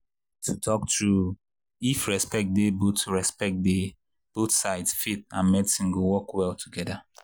to talk true if respect dey both respect dey both sides faith and medicine go work well together.